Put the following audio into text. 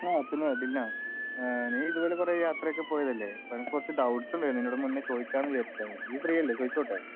ആഹ് പിന്നെ ദിൽന, നീ ഇതുപോലെ കുറേ യാത്രയൊക്കെ പോയതല്ലെ? അപ്പൊ എനിക്ക് കുറച്ച് ഡൌട്ട്സ് ഉണ്ടെർന്ന്. നിന്നോട് മുന്നേ ചോയ്ക്കാന് വിചാരിച്ചേർന്ന്. ഇയി ഫ്രീയല്ലെ ചോയ്‌ച്ചോട്ടെ?